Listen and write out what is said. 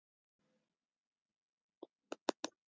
Ég vona þá að þú segir ekki frá öllu því versta.